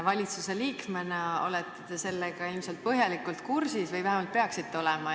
Valitsuse liikmena olete sellega ilmselt põhjalikult kursis või vähemalt peaksite olema.